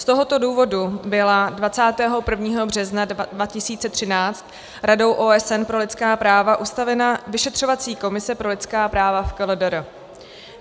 Z tohoto důvodu byla 21. března 2013 Radou OSN pro lidská práva ustavena vyšetřovací komise pro lidská práva v KLDR.